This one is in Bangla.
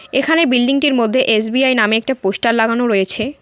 এখানে বিল্ডিংটির মধ্যে এস_বি_আই নামে একটা পোস্টার লাগানো রয়েছে।